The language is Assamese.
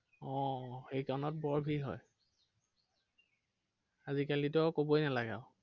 অ সেইকনত বৰ ভিৰ হয়। আজিকালিতো আৰু কবই নালাগে আৰু।